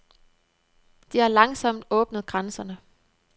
De har langsomt åbnet grænserne.